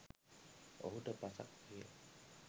ඔහුට පසක් විය